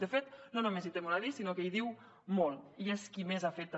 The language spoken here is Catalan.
de fet no només hi té molt a dir sinó que hi diu molt i és qui més ha fet també